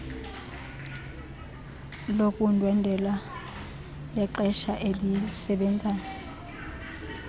lokundwendwela lexeshana elisebenzayo